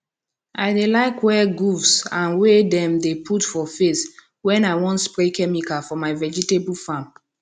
i dey like wear gooves and wey dem dey put for face when i wan spray chemical for my vegetable farm